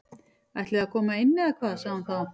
Ætliði að koma inn eða hvað sagði hún þá.